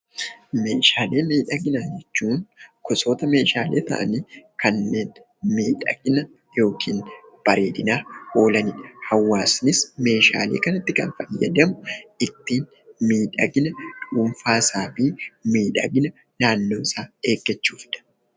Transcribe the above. Meeshaalee miidhaginaa jechuun gosoota Meeshaalee ta'anii kanneen miidhagina yookiin bareedinaaf oolanidha. Hawaasnis Meeshaalee kana itti gargaaramee ittiin miidhagina dhuunfaa isaa fi naannoo isaa eeggachuufidha.